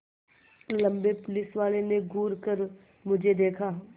लम्बे पुलिसवाले ने घूर कर मुझे देखा